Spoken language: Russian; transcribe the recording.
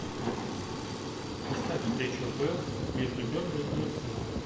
поставь встречу апл между бернли и арсенал